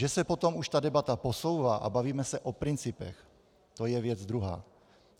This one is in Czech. Že se potom už ta debata posouvá a bavíme se o principech, to je věc druhá.